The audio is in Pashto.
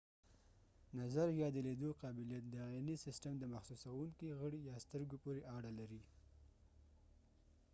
نظر ،یا د لیدلو قابلیت د عینی سیستم د د محسوسونکې غړی یا سترګو پورې اړه لري